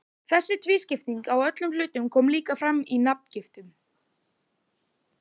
Þessi tvískipting á öllum hlutum kom líka fram í nafngiftum.